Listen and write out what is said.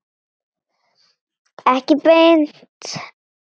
Ekki beint.